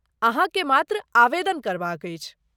अहाँके मात्र आवेदन करबाक अछि।